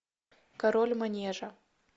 король манежа